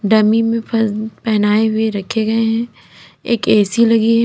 Dummy में पहनाए हुए रखे गए हैं। एक ए_सी लगी है।